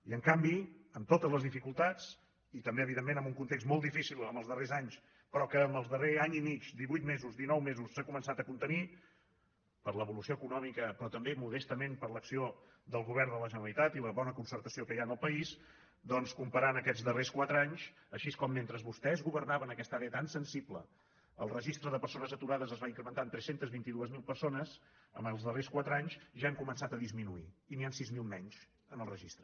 i en canvi amb totes les dificultats i també evidentment en un context molt difícil en els darrers anys però que en el darrer any i mig divuit mesos dinou mesos s’ha començat a contenir per l’evolució econòmica però també modestament per l’acció del govern de la generalitat i la bona concertació que hi ha en el país doncs comparant aquests darrers quatre anys així com mentre vostès governaven aquesta àrea tan sensible el registre de persones aturades es va incrementar en tres cents i vint dos mil persones en els darrers quatre anys ja han començat a disminuir i n’hi han sis mil menys en el registre